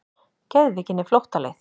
Geðveikin er flóttaleið.